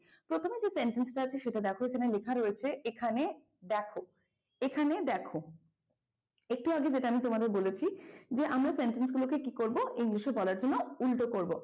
প্রথমে যে sentence টা আছে সেটা দেখো এখানে লেখা রয়েছে এখানে দেখো, এখানে দেখো একটু আগে যেটা আমি তোমাদের বলেছি যে আমরা sentence গুলোকে কি করব english এ বলার জন্য উল্টো করব।